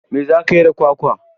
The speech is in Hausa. Me za ka yi da kwakwa?